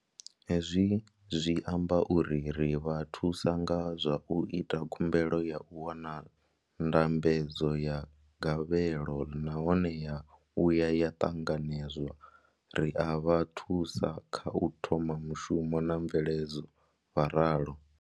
Hezwi zwi amba uri ri vha thusa nga zwa u ita khumbelo ya u wana ndambedzo ya gavhelo nahone ya vhuya ya ṱanganedzwa, ri a vha thusa kha u thoma mushumo na mveledzo, vho ralo.